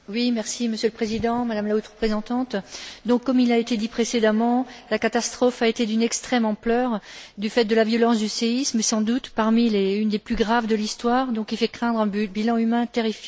Monsieur le Président, Madame la Haute représentante, comme cela a été dit précédemment, la catastrophe a été d'une extrême ampleur, du fait de la violence du séisme, sans doute une des plus graves de l'histoire, qui fait donc craindre un bilan humain terrifiant.